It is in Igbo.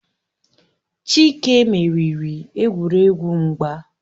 Chike meriri egwuregwu mgba